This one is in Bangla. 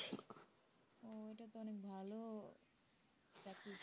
উহ এটা তো অনেক ভাল চাকরি